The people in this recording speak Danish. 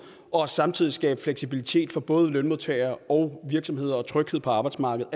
og samtidig skabe fleksibilitet for både lønmodtagere og virksomheder og tryghed på arbejdsmarkedet